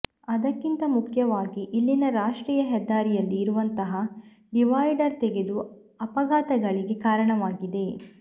ಅದಕ್ಕಿಂತ ಮುಖ್ಯವಾಗಿ ಇಲ್ಲಿನ ರಾಷ್ಟ್ರೀಯ ಹೆದ್ದಾರಿಯಲ್ಲಿ ಇರುವಂತಹ ಡಿವೈಡರ್ ತೆಗೆದು ಅಪಘಾತಗಳಿಗೆ ಕಾರಣವಾಗಿದೆ